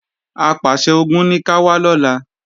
Apàṣẹ-Ogun ní ká wá lọ́la